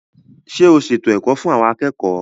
Ṣé o ṣètò ẹ̀kọ́ fún àwọn akẹ́kọ̀ọ́?